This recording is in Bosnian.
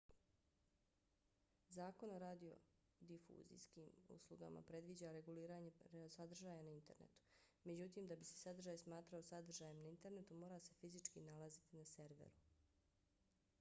zakon o radiodifuzijskim uslugama predviđa reguliranje sadržaja na internetu. međutim da bi se sadržaj smatrao sadržajem na internetu mora se fizički nalaziti na serveru